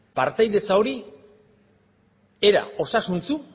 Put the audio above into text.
partaidetza hori era osasuntsu